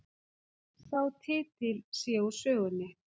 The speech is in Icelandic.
Sá titill sé úr sögunni